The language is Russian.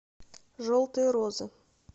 желтые розы